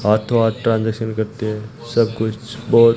हाथों हाथ ट्रांजैक्शन करते हैं सब कुछ बहुत--